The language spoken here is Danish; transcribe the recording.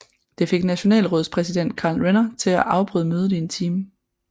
Det fik Nationalrådspræsident Karl Renner til at afbryde mødet i en time